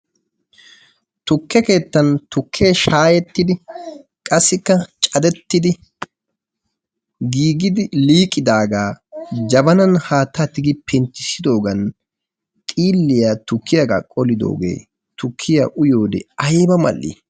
Tukke keettan tukke shaahettidi qassikka caddetidi giigidi liiqidaaga jabanan haattaa tigi penttissidoogan xiilliyaa tukkiyaaga qolidoogee tukkiya uyiyoode ayba mall''i!